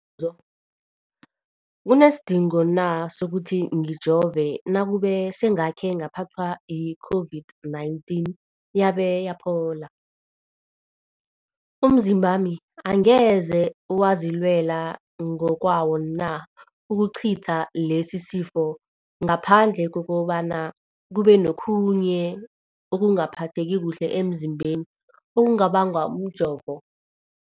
kunesidingo na sokuthi ngijove nakube sengakhe ngaphathwa yi-COVID-19 yabe yaphola? Umzimbami angeze wazilwela ngokwawo na ukucitha lesisifo, ngaphandle kobana kube nokhunye ukungaphatheki kuhle emzimbeni okubangwa mjovo?